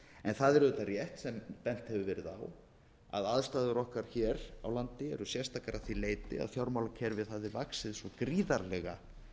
en það er auðvitað rétt sem bent hefur verið á að aðstæður okkar hér á landi eru sérstakar að því leyti að fjármálakerfið hafði vaxið svo gríðarlega